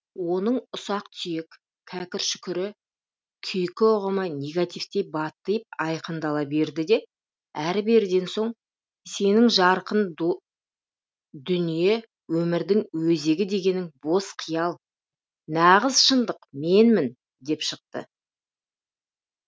оның ұсақ түйек кәкір шүкірі күйкі ұғымы негативтей баттиып айқындала берді де әрі беріден соң сенің жарқын дүние өмірдің өзегі дегенің бос қиял нағыз шындық менмін деп шықты